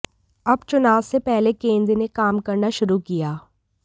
अब चुनाव से पहले केंद्र ने काम करना शुरू किया